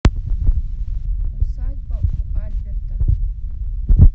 усадьба у альберта